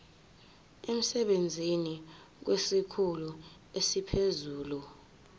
emsebenzini kwesikhulu esiphezulu